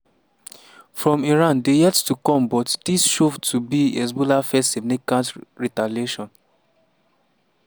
from iran dey yet to come but dis show to be hezbollah first significant retaliation.